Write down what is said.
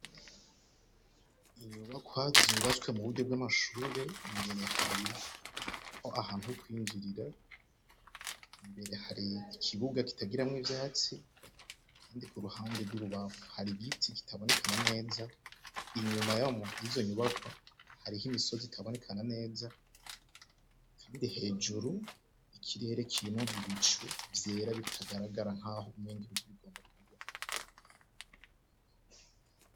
inyubakwa zubatswe mu buryo bw'amashuri imbere hariho ahantu ho kwinjirira imbere hari ikibuga kitagira mwo ivyatsi kandi ku ruhande rw'ububapfu hari igiti kitabonekana neza inyuma yizo nyubakwa hariko imisozi itaboneka neza kandi hejuru ikirere kirimwo ibicu vyera bitagaragara nkaho mingi mvur igomba kugwa